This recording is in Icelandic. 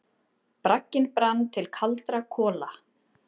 Bragginn brann til kaldra kola.